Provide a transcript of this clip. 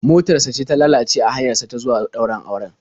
Motar sa ce ta lalace a hanyar sa ta zuwa ɗaurin auren.